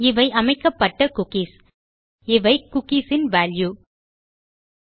இவை அமைக்கப்பட்ட குக்கீஸ் இவை குக்கீஸ் இன் வால்யூஸ்